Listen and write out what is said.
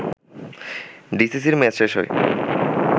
ডিসিসির মেয়াদ শেষ হয়